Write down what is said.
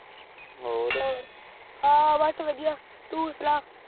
ਹੋਰ ਬਾਸ ਵਾਦਿਯ ਤੂ ਸੁਨਾ